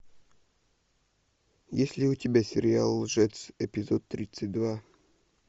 есть ли у тебя сериал лжец эпизод тридцать два